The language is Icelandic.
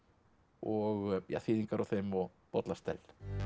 og þýðingar á þeim og bollastell